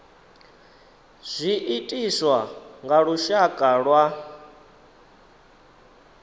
zwi itiswa nga lushaka lwa